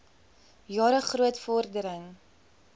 jare groot vordering